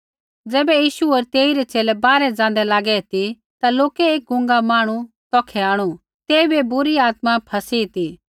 ज़ैबै यीशु होर तेइरै च़ेले बाहरै ज़ाँदै लागै ती ता लोकै एक गूंगा मांहणु तौखै आंणु तेइबै बुरी आत्मा फ़सी ती